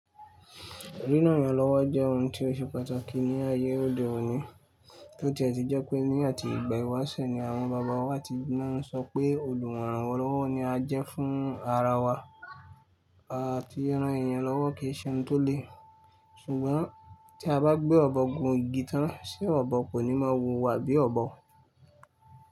Ríran ẹyan lọ́wọ́ jẹ́ ohun tí ó ṣe pàtàkì ní ayé òde òni. Tó ti a ti jẹ́ pé ní àti ìgbà ìwáṣẹ̀ ni àwọn baba wa ti náà ń sọ pé olùwòran ọlọ́wọ́ ni a jẹ́ fún ara wa àti ran ẹyan lọ́wọ́ kìí ṣe ohun tó le. Ṣùgbọ́n tí a bá gbé ọ̀bọ gbọn igi tán, ṣé ọ̀bọ kò ní máa wu wa bí ọ̀bọ?